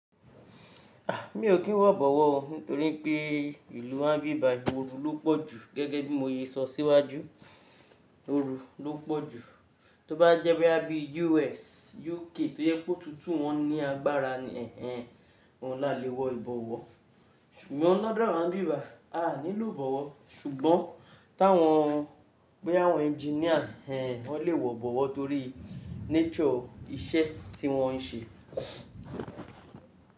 A! Mi ò kín wọ ìbọ̀wọ́ ọ, nítorí pé ìlú ń bí ìbà, ooru ló pọ̀ jù gẹ́gẹ́ bí mo ye sọ síwájú, ooru ló pọ̀ jù. Tóbá jẹ́ pé a bí US, UK tó yẹ kó tútù wọ́n ní agbára ni ẹ́hẹ́n wọn láti wọ ìbọ̀wọ́. Ṣùgbọ́n lọ́dọ̀ àwọn bí ìbà, a ní lò ìbọ̀wọ́, ṣùgbọ́n táwọn pé àwọn engineer ẹ́hẹ́n wọn lè wọ ìbọ̀wọ́ torí nature iṣẹ́ tí wọ́n ń ṣe.